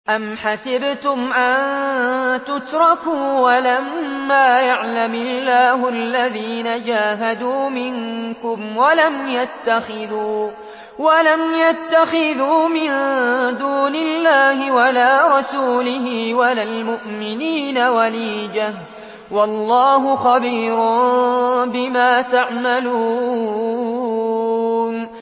أَمْ حَسِبْتُمْ أَن تُتْرَكُوا وَلَمَّا يَعْلَمِ اللَّهُ الَّذِينَ جَاهَدُوا مِنكُمْ وَلَمْ يَتَّخِذُوا مِن دُونِ اللَّهِ وَلَا رَسُولِهِ وَلَا الْمُؤْمِنِينَ وَلِيجَةً ۚ وَاللَّهُ خَبِيرٌ بِمَا تَعْمَلُونَ